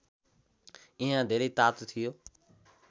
यहाँ धेरै तातो थियो